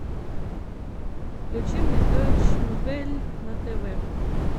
включи мне дойч вель на тв